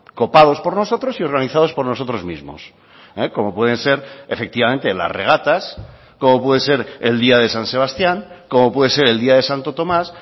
copados por nosotros y organizados por nosotros mismos como pueden ser efectivamente las regatas como puede ser el día de san sebastián como puede ser el día de santo tomás